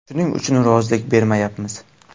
Shuning uchun rozilik bermayapmiz.